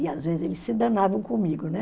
E às vezes eles se danavam comigo, né?